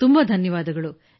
ತುಂಬ ಧನ್ಯವಾದಗಳು ಸರ್